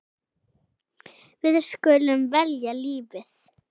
Við skulum velja lífið.